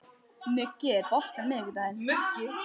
Muggi, er bolti á miðvikudaginn?